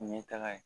U ɲɛ taga ye